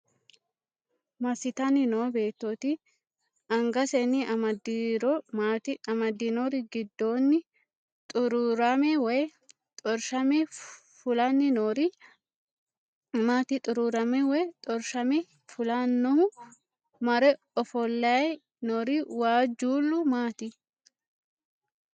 Massitanni noo beettooti? Angasenni amaddiro maati? amaddinori giddonni xuruurame woy xorshame fulanni noori maati? Xuruurame woy xorshame fulaahu mare ofollay noori waajjuullu maati?